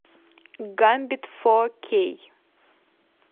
гамбит фо кей